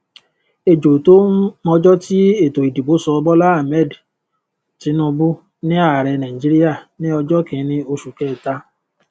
ejò tó ún mọjọ tí ètò ìdìbò sọ bola ahmed tinubu ni ààrẹ nàìjíríà ní ọjọ kìíní oṣù kẹta